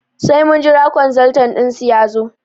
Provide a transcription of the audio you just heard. Sai mun jira kwanzaltan dinsu yazo